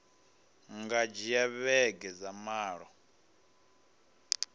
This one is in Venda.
nga dzhia vhege dza malo